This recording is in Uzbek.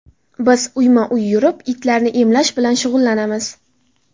Biz uyma-uy yurib, itlarni emlash bilan shug‘ullanamiz.